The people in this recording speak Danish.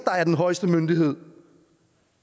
er den højeste myndighed